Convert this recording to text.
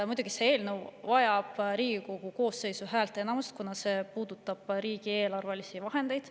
Muidugi, see eelnõu vajab Riigikogu koosseisu häälteenamust, kuna see puudutab riigieelarve vahendeid.